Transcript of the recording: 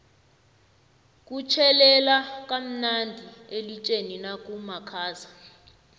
kutjhelela kamnadi elitjeni nakumakhaza